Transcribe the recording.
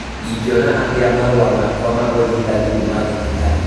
Ingĩona atĩa marũa makwa ma ũrigitani kuuma thibitarĩ?